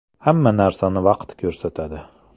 Hamma narsani vaqt ko‘rsatadi.